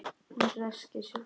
Hún ræskir sig.